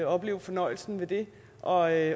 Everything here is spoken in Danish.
opleve fornøjelsen ved det og at